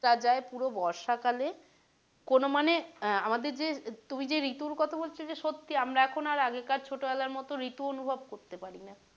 পুরো বর্ষা কালে কোনো মানে আমাদের যে তুই যে ঋতুর কথা বলছিস সত্যি আমরা এখন আর আগেকার ছোটো বেলার মতো ঋতু অনুভব করতে পারি না।